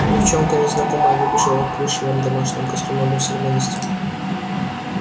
девчонка незнакомая выбежала в плюшевом домашнем костюме мусор вынести